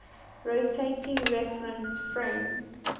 rotating reference frame